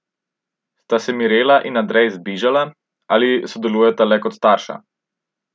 Sta se Mirela in Andrej zbližala ali sodelujeta le kot starša?